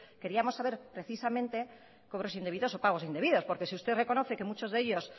queríamos saber precisamente cobros indebidos o pagos indebidos porque si usted reconoce que muchos de ellos